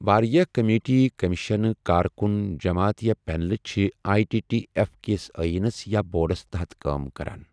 واریاہ کٔمیٖٹیہٕ، کمیشنہٕ، کار کُن جَماعت یا پینل چھِ آٮٔی ٹی ٹی ایف کِس ٲیٖنَس یا بورڈس تحت کٲم کران۔